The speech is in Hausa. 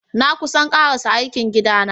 Na kusan karasa aikin gida na.